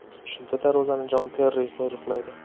Shunda darvozani Jon Terri qo‘riqlaydi.